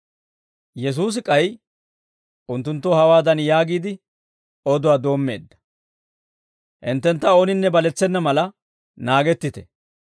Yesuusi k'ay unttunttoo hawaadan yaagiide, oduwaa doommeedda; Hinttentta ooninne baletsena mala naagettite.